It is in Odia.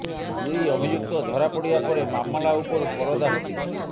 ଦୁଇ ଅଭିଯୁକ୍ତ ଧରାପଡ଼ିବା ପରେ ମାମଲା ଉପରୁ ପରଦା ହଟିଛି